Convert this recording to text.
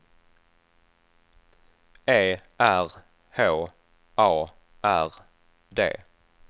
E R H A R D